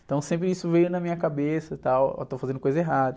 Então sempre isso veio na minha cabeça, e tal, eu estou fazendo coisa errada.